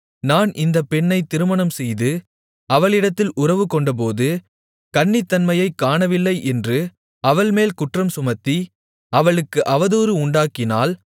நான் இந்தப் பெண்ணைத் திருமணம்செய்து அவளிடத்தில் உறவுகொண்டபோது கன்னித்தன்மையைக் காணவில்லை என்று அவள் மேல் குற்றம் சுமத்தி அவளுக்கு அவதூறு உண்டாக்கினால்